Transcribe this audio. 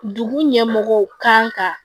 Dugu ɲɛmɔgɔw kan ka